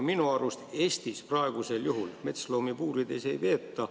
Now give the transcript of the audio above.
Minu arust Eestis praegu metsloomi puurides ei peeta.